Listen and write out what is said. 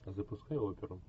запускай оперу